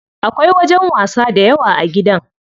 Akwai wajen wasa dayawa a gidan.